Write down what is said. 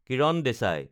Kiran Desai